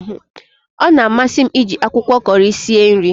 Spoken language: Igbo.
Ọ na amasi m iji akwụkwọ Kọri sie nri